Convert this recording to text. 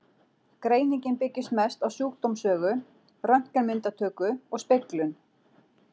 Greiningin byggist mest á sjúkdómssögu, röntgenmyndatöku og speglun.